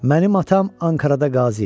Mənim atam Ankarada qazi idi.